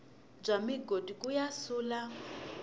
bya migodi ku ya sula